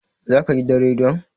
za ka gidan rediyon!